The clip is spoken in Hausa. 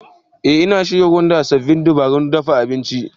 Eh, Ina shirin gwada sabbin dabarun dafa abinci.